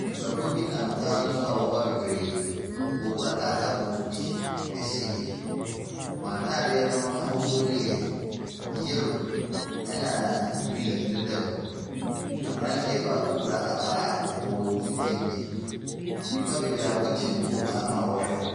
Nnipakuo bi nam kwan so a wɔreba bebree. Wɔkura kakaamotobi kɛseɛ bi. Wɔn atadeɛ no ahosuo no yɛ yellow, ɛnna green deda mu. Aberanteɛ baako kura abaa kɔkɔɔ tenten bi. Nnipa bebree abɔ kyenku wɔ kwan ho a wɔrehwɛ wɔn.